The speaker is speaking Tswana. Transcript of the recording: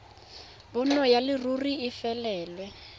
bonno ya leruri e felelwe